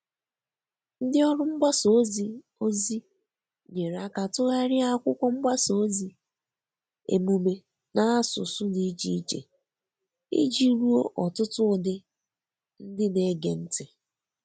Ndị ọrụ mgbasa ozi ozi nyere aka tụgharịa akwụkwọ mgbasa ozi emume n'asụsụ dị iche iche iji ruo ọtụtụ ụdị ndị na-ege ntị.